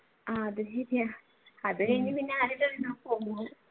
അത് ശരിയാ അത് കഴിഞ്ഞു